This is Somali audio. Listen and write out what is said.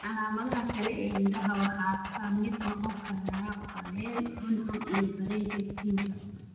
Calaamadaha kale ee indhaha waxaa ka mid noqon kara qallayl, cuncun iyo dareenka iftiinka.